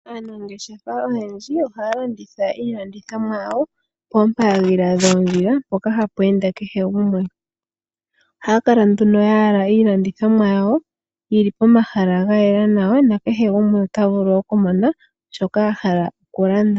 Aanangeshefa oyendji ohaya landitha iilandithomwa yawo poopaadhila dhoondjila mpoka hapu ende kehe gumwe. Oha ya kala nduno ya yala iilandithomwa yawo yili pomahala gayela nawa mpoka kehe gumwe ta vulu oku mona po, yo ya lande nee iinima yawo.